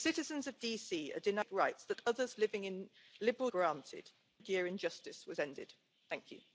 az Unió egységét és kordában tartsuk a trumpi politikai ámokfutás olyan kéretlen európai csodálóit és kiszolgálóit, mint Orbán Viktor.